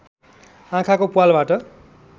आँखाको प्वालबाट